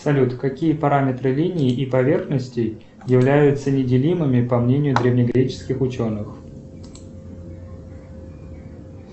салют какие параметры линии и поверхности являются неделимыми по мнению древнегреческих ученых